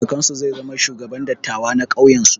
Kakansu zai zama shugaban dattawa na ƙauyen su.